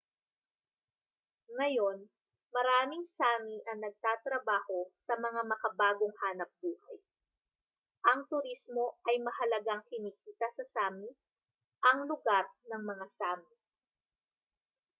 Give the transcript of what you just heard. ngayon maraming sámi ang natatrabaho sa mga makabagong hanapbuhay ang turismo ay mahalagang kinikita sa sámi ang lugar ng mga sámi